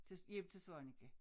Til hjem til Svaneke